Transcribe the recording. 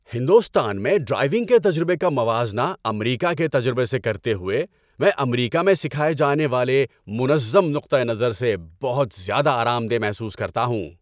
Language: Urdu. ہندوستان میں ڈرائیونگ کے تجربے کا موازنہ امریکہ کے تجربے سے کرتے ہوئے، میں امریکہ میں سکھائے جانے والے منظم نقطہ نظر سے بہت زیادہ آرام دہ محسوس کرتا ہوں۔